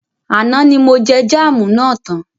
Àná ní mo jẹ jámù na tán.